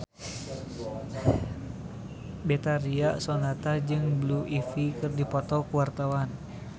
Betharia Sonata jeung Blue Ivy keur dipoto ku wartawan